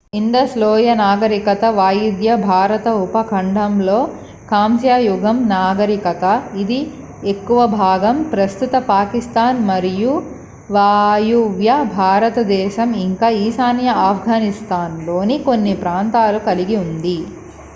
Indus లోయ నాగరికత వాయువ్య భారత ఉపఖండంలోని కాంస్య యుగం నాగరికత ఇది ఎక్కువ భాగం ప్రస్తుత పాకిస్తాన్ మరియువాయువ్య భారతదేశం ఇంకా ఈశాన్య ఆఫ్ఘనిస్తాన్ లోని కొన్ని ప్రాంతాలను కలిగి ఉంది